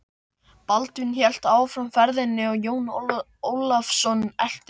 Baldvin hélt áfram ferðinni og Jón Ólafsson elti.